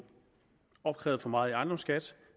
opkrævet for meget i ejendomsskat